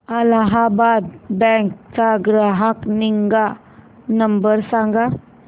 Allahabad bank चा ग्राहक निगा नंबर सांगा